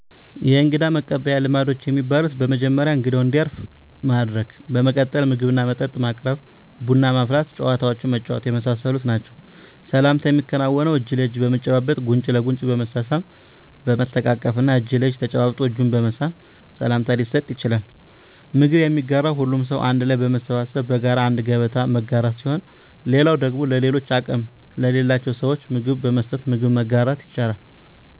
የእንግዳ መቀበያ ልማዶች የሚባሉት በመጀመሪያ እንግዳው እንዲያርፍ ማድረግ በመቀጠል ምግብና መጠጥ ማቅረብ ቡና ማፍላት ጨዋታዎችን መጫወት የመሳሰሉት ናቸዉ። ሰላምታ የሚከናወነው እጅ ለእጅ በመጨባበጥ ጉንጭ ለጉንጭ በመሳሳም በመተቃቀፍ እና እጅ ለእጅ ተጨባብጦ እጅን በመሳም ሰላምታ ሊሰጥ ይቻላል። ምግብ የሚጋራው ሁሉም ሰው አንድ ላይ በመሰብሰብ በጋራ አንድ ገበታ መጋራት ሲሆን ሌላው ደግሞ ለሌሎች አቅም ለሌላቸው ስዎች ምግብ በመስጠት ምግብ መጋራት ይቻላል።